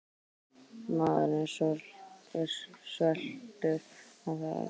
Maður er svekktur að hafa ekki fengið neitt út úr þessu.